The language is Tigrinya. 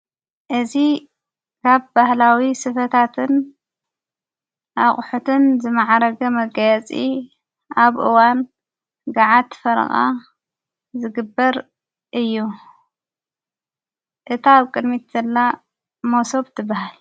እዝ ካብ ባህላዊ ስፈታትን ኣቕሑትን ዘመዓረገ መጋያፂ ኣብእዋን ገዓት ፈርቓ ዘግበር እዩ እታ ኣብ ቅድሚት ንዘላ ሞሶብ ትበሃል።